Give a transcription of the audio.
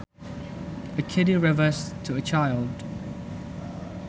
A kiddy refers to a child